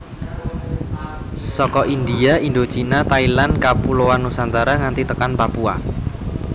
Saka India Indochina Thailand Kapuloan Nusantara nganti tekan Papua